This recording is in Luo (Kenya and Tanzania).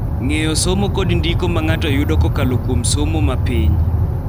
Ng�eyo somo kod ndiko ma ng�ato yudo kokalo kuom somo ma piny.